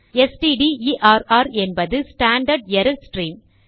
stderr என்பது standard error stream